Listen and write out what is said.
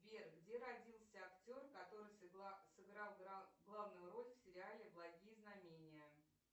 сбер где родился актер который сыграл главную роль в сериале благие знамения